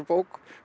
bók